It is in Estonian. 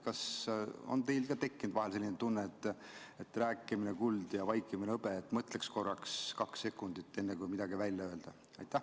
Kas ka teil on tekkinud vahel selline tunne, et rääkimine on kuld ja vaikimine hõbe, et mõtleks korraks kaks sekundit, enne kui midagi välja öelda?